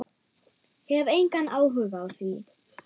Hef engan áhuga á því.